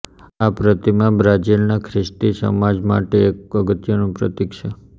આ પ્રતિમા બ્રાઝિલનાં ખ્રિસ્તી સમાજમાટે એક અગત્યનું પ્રતિક છે